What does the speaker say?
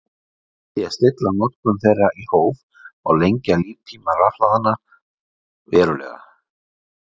með því að stilla notkun þeirra í hóf má lengja líftíma rafhlaðanna verulega